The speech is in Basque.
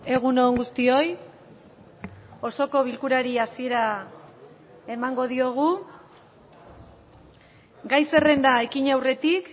egun on guztioi osoko bilkurari hasiera emango diogu gai zerrenda ekin aurretik